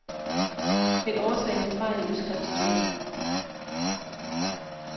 Find årsag til fejl i udskriftstyring.